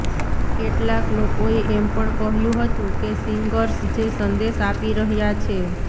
કેટલાક લોકોએ એમ પણ કહ્યું હતું કે સિંગર્સ જે સંદેશ આપી રહ્યા છે